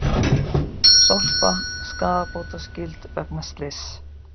Sorpa skaðabótaskyld vegna slyss